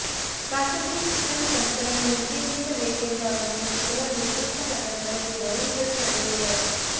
ಖಾಸಗಿ ಶಿಕ್ಷಣಸಂಸ್ಥೆಗಳನ್ನು ನಿಷೇಧಿಸಬೇಕೆಂದು ಆಗ್ರಹಿಸಿ ಕೆಲವು ನಿರ್ದಿಷ್ಟ ನಗರಗಳಲ್ಲಿ ಧರಣಿಗಳು ನಡೆದಿವೆ